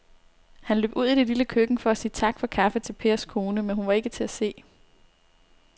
Han løb ud i det lille køkken for at sige tak for kaffe til Pers kone, men hun var ikke til at se.